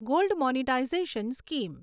gold monetization scheme